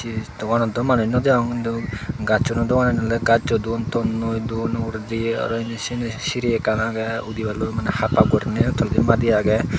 ei doganot daw manuj naw degong hintu gajjuno doganan oley gajjoi don tonnoi don uguredi aro indi sini siri ekkan agey udiballoi maneh haphap guriney toledi madi agey.